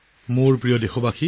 মোৰ প্ৰিয় দেশবাসী